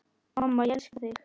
Mamma, ég elska þig.